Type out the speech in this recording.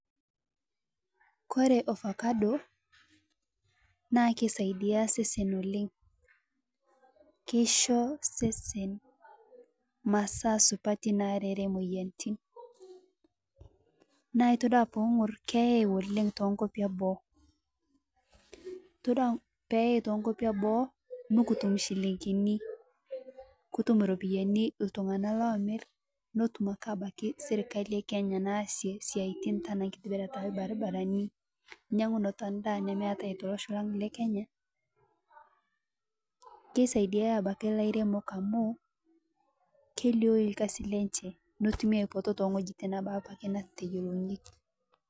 Kore ovacado naa keisaidia sesen oleng' keisho sesen masaa supatii nareree moyaritin naa itodua piing'ur keyai oleng' tenkopii eboo itodua peyai tenkopii eboo nukutum shilinginii, kutum ropiyani ltung'ana lomir notum ake abaki sirkalii ekenya naasie siatin tanaa nkitibirataa elbarbaranii nyang'unoto endaa nemeatai teloshoo lang lekenyaa keisaidia abaki lairemok amuu keilioyuu lkazii lenshee notumii aipoto teng'hoji naboo neteyolounyeki.